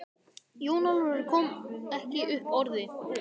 Jón Ólafur kom ekki upp orði.